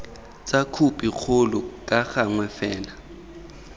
tsa khopikgolo ka gangwe fela